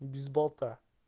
без бота